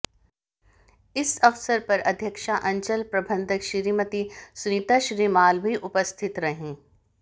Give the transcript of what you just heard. इस अवसर पर अध्यक्षा अंचल प्रबंधक श्रीमती सुनीता श्रीमाल भी उपस्थित रहीं